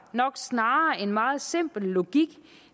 nok snarere en meget simpel logik